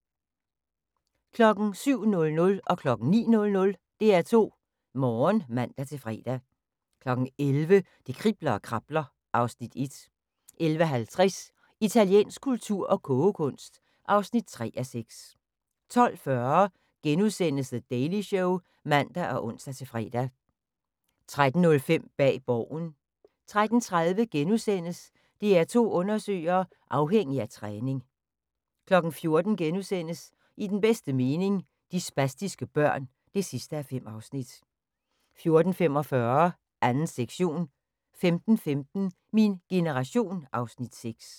07:00: DR2 Morgen (man-fre) 09:00: DR2 Morgen (man-fre) 11:00: Det kribler og krabler (Afs. 1) 11:50: Italiensk kultur og kogekunst (3:6) 12:40: The Daily Show *(man og ons-fre) 13:05: Bag Borgen 13:30: DR2 Undersøger: Afhængig af træning * 14:00: I den bedste mening – De spastiske børn (5:5)* 14:45: 2. sektion 15:15: Min generation (Afs. 6)